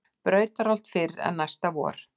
Brautarholt fyrr en næsta vor.